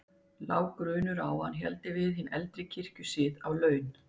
Lá grunur á að hann héldi við hinn eldri kirkjusið á laun.